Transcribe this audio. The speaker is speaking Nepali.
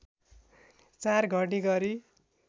४ घडी गरी